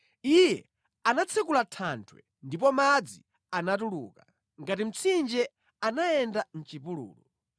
Iye anatsekula thanthwe, ndipo madzi anatuluka; ngati mtsinje anayenda mʼchipululu.